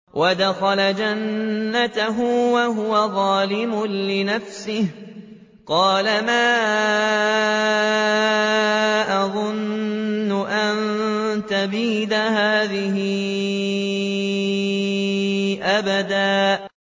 وَدَخَلَ جَنَّتَهُ وَهُوَ ظَالِمٌ لِّنَفْسِهِ قَالَ مَا أَظُنُّ أَن تَبِيدَ هَٰذِهِ أَبَدًا